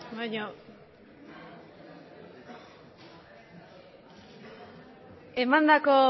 emandako